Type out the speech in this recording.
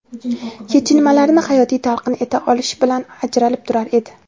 kechinmalarini hayotiy talqin eta olishi bilan ajralib turar edi.